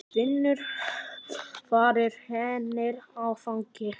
Finnur varir hennar á vanga.